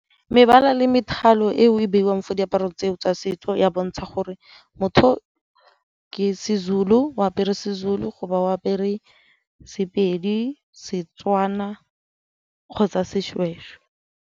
Mebala le methalo eo e beiwang fo diaparo tseo tsa setso ya bontsha gore motho o ke seZulu, o apere seZulu go ba o apere Sepedi, Setswana kgotsa seshweshwe.